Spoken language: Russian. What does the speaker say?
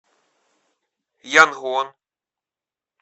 янгон